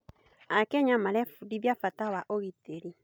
Akenya marebundithia bata wa ũgitĩri.